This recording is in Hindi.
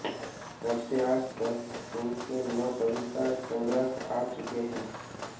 तब से आज तक उनके नौ कविता संग्रह आ चुके हैं